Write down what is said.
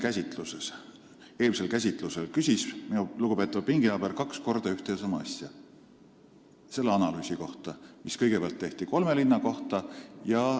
Sama teema eelmisel käsitlusel küsis minu lugupeetud pinginaaber kaks korda ühte ja sama asja selle analüüsi kohta, mis tehti kõigepealt kolme linna kohta.